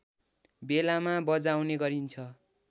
बेलामा बजाउने गरिन्छ